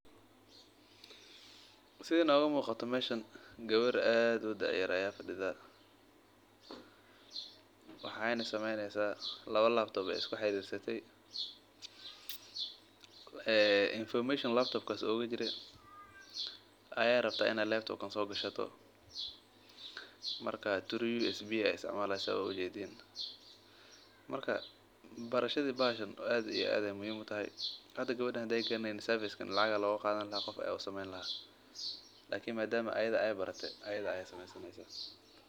Sida nooga muuqato gabar aad u da yar ayaa fadida laba labtop ayeey isku xariirise marka barashada bahashan aad iyo aad ayeey ufican tahay lacag ayaa looga qaadan lahaa Lakin ayada ayaa barate oo samey saneysa.